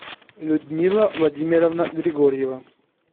людмила владимировна григорьева